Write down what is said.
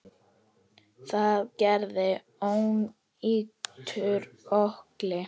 Það gerði ónýtur ökkli.